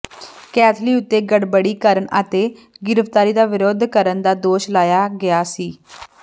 ਕੈਥਲੀ ਉੱਤੇ ਗੜਬੜੀ ਕਰਨ ਅਤੇ ਗ੍ਰਿਫਤਾਰੀ ਦਾ ਵਿਰੋਧ ਕਰਨ ਦਾ ਦੋਸ਼ ਲਾਇਆ ਗਿਆ ਸੀ